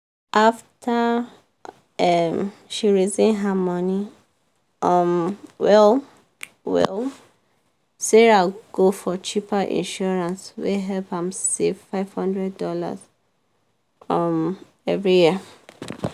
after um she reason her money um well-well sarah go for cheaper insurance wey help am save five hundred dollars um every year.